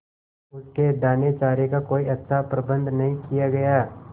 उसके दानेचारे का कोई अच्छा प्रबंध न किया गया